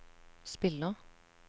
spiller